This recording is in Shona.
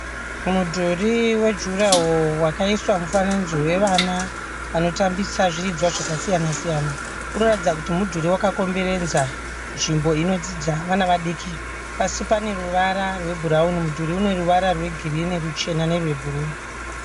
Mudhuri wejurahoro wakaiswa mufananidzo wevana vanotambisa zviridzwa zvakasiyana siyana. Unoratidza kuti mudhuri wakakomberedza nzvimbo inodzidza vana vadiki. Pasi pane ruvara rwebhurauni. Mudhuri uneruvara rwegirini, ruchena nerwebhuru.